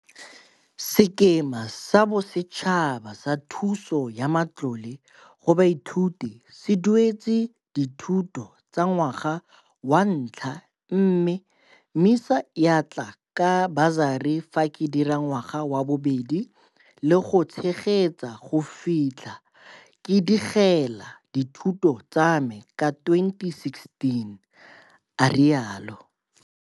Sekema sa Bosetšhaba sa Thuso ya Matlole go Baithuti se dueletse dithuto tsa ngwaga wa ntlha mme MISA ya tla ka basari fa ke dira ngwaga wa bobedi le go ntshegetsa go fitlha ke digela dithuto tsame ka 2016, a rialo.